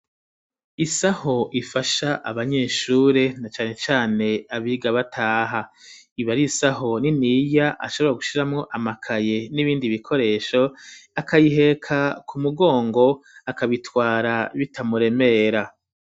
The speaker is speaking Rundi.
Isaho ifasha abanyeshure na cane cane abiga bataha ibariisaho niniya ashobora gushiramo amakaye n'ibindi bikoresho akayiheka ku mugongo akabitwara bitamuremera.